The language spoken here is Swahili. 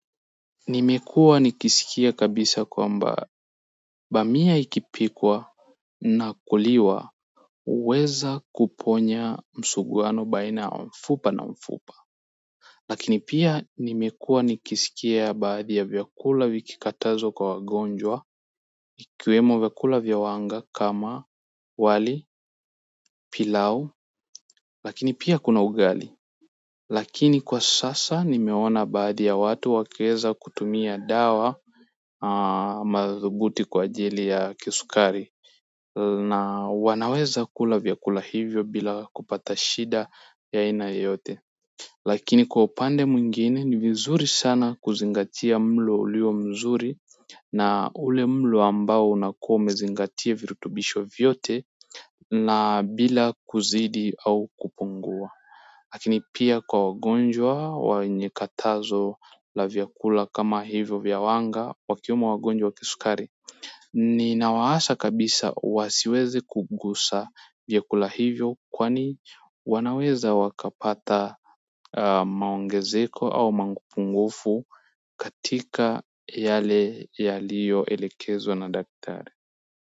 Nimekuwa nikisikia kabisa kwamba bamia ikipikwa na kuliwa huweza kuponya msuguano baina ya mfupa na mfupa lakini pia nimekuwa nikisikia baadhi ya vyakula vikikatazwa kwa wagonjwa vikiwemo vyakula vya wanga kama wali pilau lakini pia kuna ugali lakini kwa sasa nimeona baadhi ya watu wakieza kutumia dawa madhubuti kwa ajili ya kisukari na wanaweza kula vyakula hivyo bila kupata shida ya aina yoyote lakini, kwa upande mwingine ni vizuri sana kuzingatia mlo ulio mzuri na ule mlo ambao unakuwa umezingatia virutubisho vyote na bila kuzidi au kupungua lakini pia kwa wagonjwa wenye katazo la vyakula kama hivyo vya wanga wakiwemo wagonjwa wa kisukari. Ninawaasha kabisa wasiweze kugusa vyakula hivyo kwani wanaweza wakapata maongezeko au mapungufu katika yale yaliyo elekezwa na daktari.